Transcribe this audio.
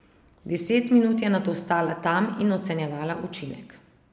Deset minut je nato stala tam in ocenjevala učinek.